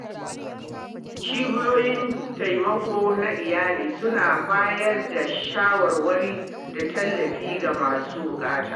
Cibiyoyin taimako na iyali suna bayar da shawarwari da tallafi ga masu buƙata.